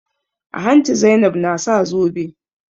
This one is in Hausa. A hanci Zainab na sa zobe.